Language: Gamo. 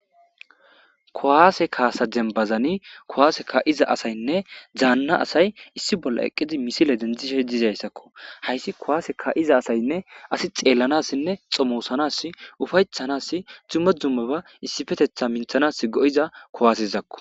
kowaase kaasa denbazani kowaase ka7iza asaynne daanna asay issi bolla eqqidi misile dentishe dizayssakko hayssi kowaase ka7iza asaynne asi xeellanassinne xomoosanas ufaytchanas dumma dummaba issifetetha minthanas go7iza kowaasezakko